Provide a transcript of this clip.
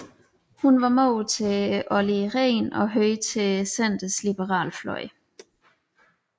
Hun var mor til Olli Rehn og hørte til Centerns liberale fløj